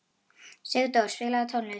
Sigdór, spilaðu tónlist.